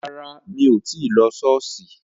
Rárá, mí ò tí lo Ṣọọṣi